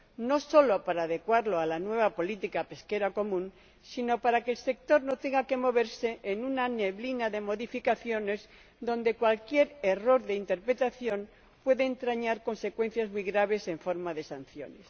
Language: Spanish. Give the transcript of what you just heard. no solo para adecuarlo a la nueva política pesquera común, sino para que el sector no tenga que moverse en una neblina de modificaciones en la que cualquier error de interpretación puede entrañar consecuencias muy graves en forma de sanciones.